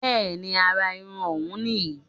Bẹ́ẹ̀ni àrà irun òun nì yí